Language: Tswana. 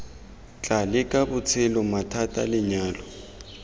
tla leka botshelo mathata lenyalo